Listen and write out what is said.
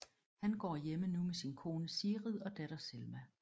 Han går hjemme nu med sin kone Sigrid og datter Selma